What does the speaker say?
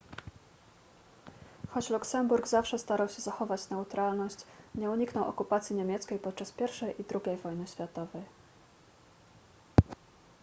choć luksemburg zawsze starał się zachować neutralność nie uniknął okupacji niemieckiej podczas pierwszej i drugiej wojny światowej